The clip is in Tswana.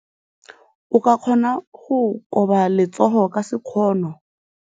O ka kgona go koba letsogo ka sekgono.